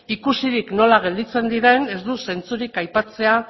ikusirik nola gelditzen diren ez du zentzurik aipatzea